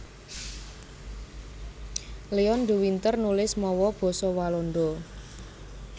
Leon de Winter nulis mawa basa Walanda